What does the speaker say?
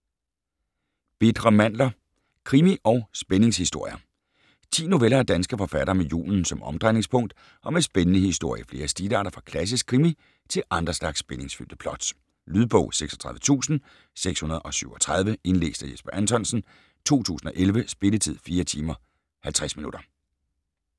Bitre mandler: krimi- og spændingshistorier 10 noveller af danske forfattere med julen som omdrejningspunkt og med spændende historier i flere stilarter fra klassisk krimi til andre slags spændingsfyldte plots. Lydbog 36637 Indlæst af Jesper Anthonsen, 2011. Spilletid: 4 timer, 50 minutter.